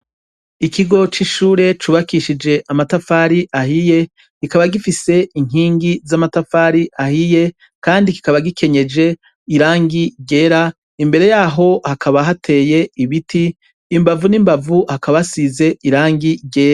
Ikigo c'ishure cubakishijwe amatafari ahiye, kikaba gifise inkingi z' amatafari ahiye kandi kikaba gikenyeje irangi ryera, imbere yaho hakaba hateye ibiti imbavu n' imbavu hakaba hasize irangi ryera.